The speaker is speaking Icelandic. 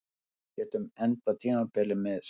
Getum endað tímabilið með sæmd